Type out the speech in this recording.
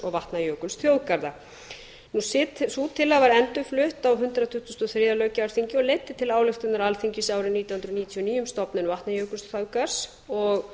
og vatnajökulsþjóðgarða sú tillaga var endurflutt á hundrað tuttugasta og þriðja löggjafarþingi og leiddi til ályktunar alþingis árið nítján hundruð níutíu og níu um stofnun vatnajökulsþjóðgarðs og